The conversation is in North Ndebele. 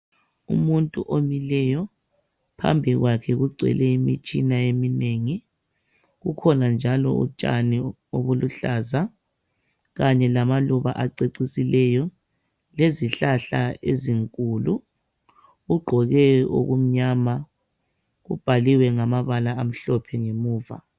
Umuntu omileyo phambi kwakhe kugcwele imitshina eminengi kukhona njalo utshani obuluhlaza kanye lamaluba acecisileyo lezihlahla ezinkulu ugqoke okumnyama kubhaliwe ngamabala amhlophe ngemuva.